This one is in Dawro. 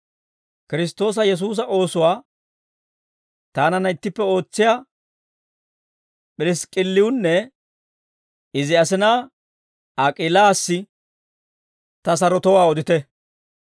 Kiristtoosa Yesuusa oosuwaa taananna ittippe ootsiyaa P'irisk'k'illiwunne izi asinaa Ak'iilassi ta sarotowaa odite.